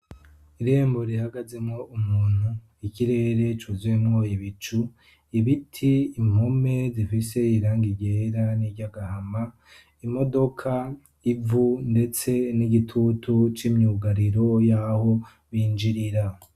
Irembo rihagazemwo umuntu, ikirere cuzemwo ibicu, ibiti, impome zifise irangi ryera n'iry'agahama, imodoka,; ivu, ndetse n'igitutu c'imyugariro y'aho binjirira.